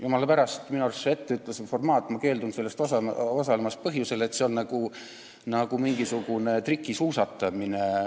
Jumala pärast, minu arust see etteütlus on selline formaat, milles ma keeldun osalemast põhjusel, et see on nagu mingisugune trikisuusatamine.